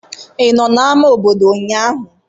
Ị nọ na ama obodo ụnyahụ?